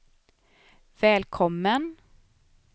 välkommen